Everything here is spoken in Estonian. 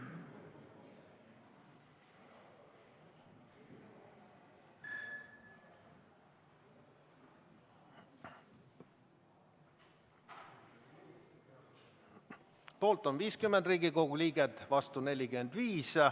Poolt on 50 Riigikogu liiget, vastu 45.